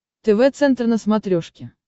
тв центр на смотрешке